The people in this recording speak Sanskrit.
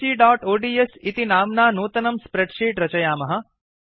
abcओड्स् इति नाम्ना नूतनं स्प्रेड् शीट् रचयामः